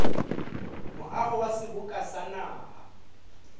moaho wa seboka sa naha